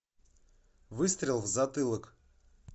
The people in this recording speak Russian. выстрел в затылок